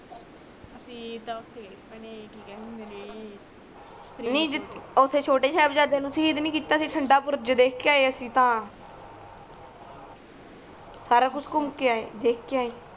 ਅਸੀ ਤਾ ਉਥੇ ਗਯੇ ਸੀ ਭੈਣੇ ਕਿ ਕਹਿੰਦੇ ਹੁੰਦੇ ਨੇ ਨੀ ਜਿਥੇ ਉਥੇ ਛੋਟੇ ਸਾਹਿਬਜ਼ਾਦੇ ਨੂੰ ਸਹੀਦ ਕੀਤਾ ਸੀ ਠੰਡਾਪੁਰ ਦੇਖ ਕੇ ਆਯੇ ਅਸੀ ਤਾ ਸਾਰਾ ਕੂਚ ਘੁਮ ਕੇ ਆਯੇ ਦੇਖ ਕੇ ਆਯੇ